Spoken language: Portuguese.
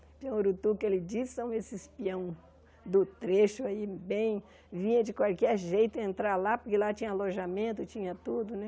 Pião urutu, que ele disse, são esses pião do trecho aí, bem... Vinha de qualquer jeito entrar lá, porque lá tinha alojamento, tinha tudo, né?